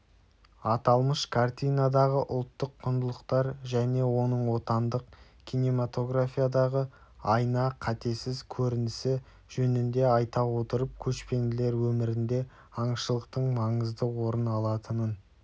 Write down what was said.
аталмыш картинадағы ұлттық құндылықтар және оның отандық кинематографиядағы айна-қатесіз көрінісі жөнінде айта отырып көшпенділер өмірінде аңшылықтың маңызды орын алатынын